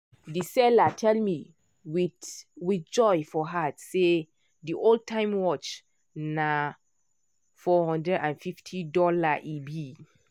the seller tell me with with joy for heart say the old time-watch na $450 e be